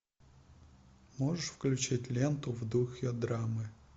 можешь включить ленту в духе драмы